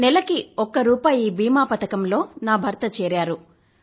నెలకు ఒక్క రూపాయి బీమా పథకంలో నా భర్త చేరారు